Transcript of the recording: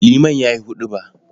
Liman ya yi huɗuba.